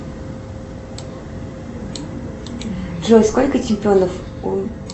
джой сколько чемпионов у